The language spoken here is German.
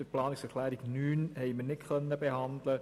Die Planungserklärung 9 konnten wir nicht behandeln.